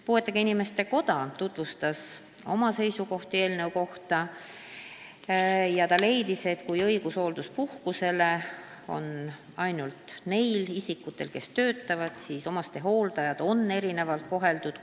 Puuetega inimeste koda tutvustas oma seisukohti eelnõu kohta ja leidis, et kui õigus hoolduspuhkusele on ainult nendel isikutel, kes töötavad, siis on omastehooldajaid erinevalt koheldud.